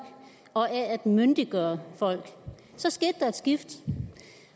og optaget af at myndiggøre folk så skete der et skift